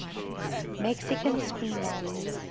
mexican screenwriters